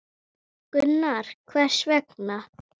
Gunnar: Hvers vegna?